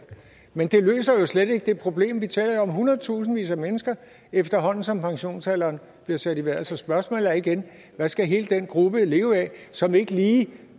men det løser jo slet ikke det problem vi taler jo om hundredtusindvis af mennesker efterhånden som pensionsalderen bliver sat i vejret så spørgsmålet er igen hvad skal hele den gruppe leve af som ikke lige